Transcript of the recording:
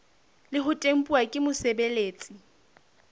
le ho tempuwa ke mosebeletsi